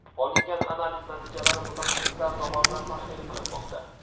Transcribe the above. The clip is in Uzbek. Olingan analiz natijalari mutaxassislar tomonidan tahlil qilinmoqda.